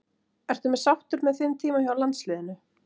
Ertu sáttur með þinn tíma hjá landsliðinu?